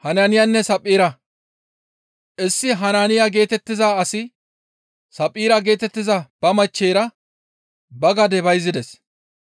Issi Hanaaniya geetettiza asi Saphphira geetettiza ba machcheyra ba gade bayzides.